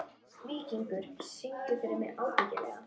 Víkingur, syngdu fyrir mig „Ábyggilega“.